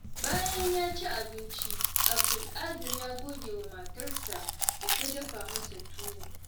Bayan ya ci abinci, Abdulkadir ya gode wa matarsa da ta dafa masa tuwo.